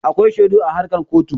Akwai shaidu a harkan kotu.